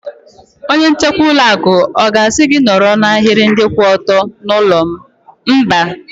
Onye nchekwa ụlọ akụ ọ ga-asị gị nọrọ n'ahiri ndị kwụ ọtọ n'ụlọ ma Ị baa?